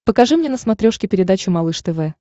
покажи мне на смотрешке передачу малыш тв